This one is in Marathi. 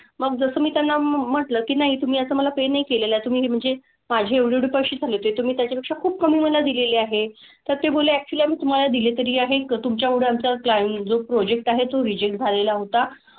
मग जसं मी त्यांना म्हंटलं की नाही तुम्ही असं मला pay नाही केलेलं आहे. तुम्ही म्हणजे माझे एवढे एवढे पैसे झाले होते, तुम्ही त्याच्यापेक्षा खूप कमी मला दिलेले आहे. तर ते बोलले actually आम्ही तुम्हाला दिले तरी आहे का तुमच्यामुळे आमचा client जो project आहे तो reject झालेला होता.